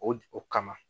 O o kama